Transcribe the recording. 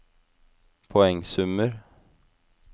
poengsummer